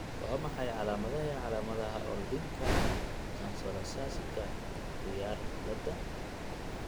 Waa maxay calaamadaha iyo calaamadaha Ornithinka translocasika kuyaar cilaad?